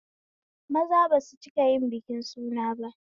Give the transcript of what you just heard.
Maza basu cikayin biki suna ba